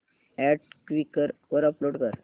add Quikr वर upload कर